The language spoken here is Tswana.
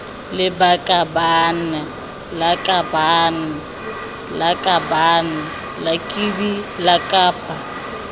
lakabaaan lakabaaan lakaban lakbi lakab